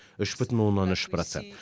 үш бүтін оннан үш процент